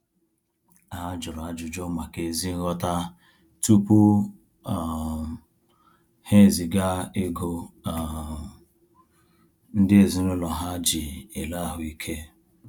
Ha jụrụ ajụjụ maka ézí nghọta tupu um ha eziga ego um ndị ezinaụlọ ha ji ele ahuike